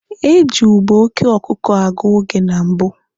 Eji ube oke ọkụkụ agụ oge na mbụ.